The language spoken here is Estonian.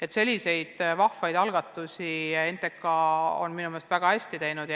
Niisuguseid vahvaid algatusi on NTK minu meelest väga hästi ellu viinud.